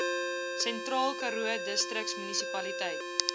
sentraal karoo distriksmunisipaliteit